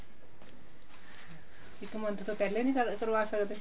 ਇੱਕ month ਤੋਂ ਪਹਿਲੇ ਨੀ ਕਰਵਾ ਸਕਦੇ